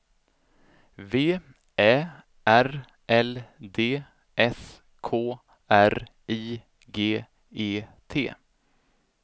V Ä R L D S K R I G E T